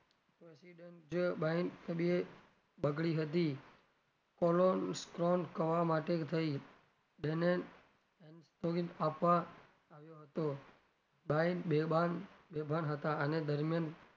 બગડી હતી કરવા માટે થઇ તેને આવ્યો હતો ભાઈ બેભાન બેભાન હતાં આના દરમિયાન,